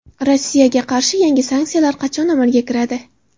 Rossiyaga qarshi yangi sanksiyalar qachon amalga kiradi?